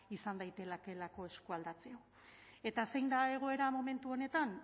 izan daitekeelako eskualdatzea eta zein da egoera momentu honetan